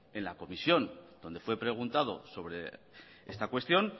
en la comisión donde fue preguntado sobre esta cuestión